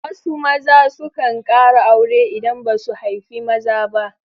Wasu maza sukan ƙara aure idan ba su haifi maza ba.